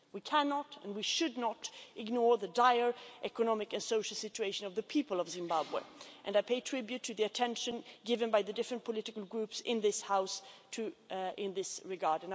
We cannot, and should not, ignore the dire economic and social situation of the people of Zimbabwe and I pay tribute to the attention given by the different political groups in this House in this regard.